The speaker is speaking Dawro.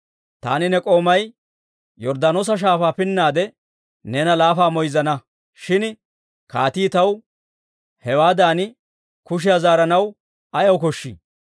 Taani ne k'oomay Yorddaanoosa Shaafaa pinnaade neena laafa moyzzana. Shin kaatii taw hewaadan kushe zaaranaw ayaw koshshii?